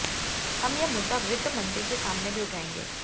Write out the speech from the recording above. हम यह मुद्दा वित्त मंत्री के सामने भी उठाएंगे